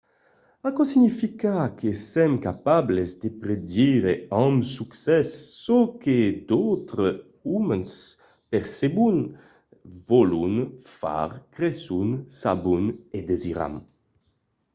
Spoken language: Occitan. aquò significa que sèm capables de predire amb succès çò que d'autres umans percebon vòlon far creson sabon o desiran